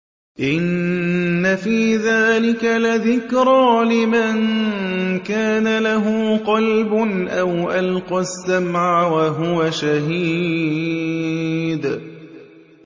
إِنَّ فِي ذَٰلِكَ لَذِكْرَىٰ لِمَن كَانَ لَهُ قَلْبٌ أَوْ أَلْقَى السَّمْعَ وَهُوَ شَهِيدٌ